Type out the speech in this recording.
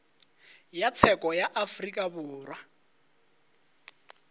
ya tsheko ya afrika borwa